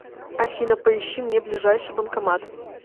афина поищи мне ближайший банкомат